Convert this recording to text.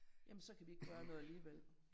Jamen så kan vi ikke gøre noget alligevel